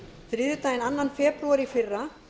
þriðjudaginn annan febrúar í fyrra